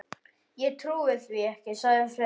Ég trúi því ekki, sagði Friðrik.